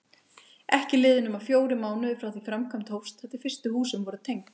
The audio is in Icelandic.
Ekki liðu nema fjórir mánuðir frá því framkvæmd hófst þar til fyrstu húsin voru tengd.